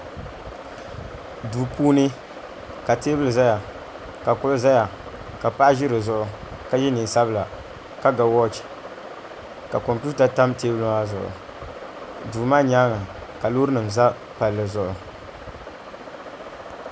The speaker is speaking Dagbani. Duu puuni ka teebuli ʒɛya ka kuɣu ʒɛya ka paɣa ʒi di zuɣu ka yɛ neen sabila ka ga wooch ka kompita tam teebuli maa zuɣu duu maa nyaanga ka loori nim ʒɛ palli zuɣu